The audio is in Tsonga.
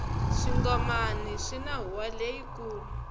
swingomani swini huwa leyi kulu